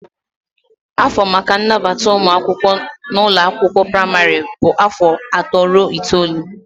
Afọ maka nnabata ụmụ akwụkwọ n'ụlọ akwụkwọ praịmarị bụ afọ atọ ruo itoolu.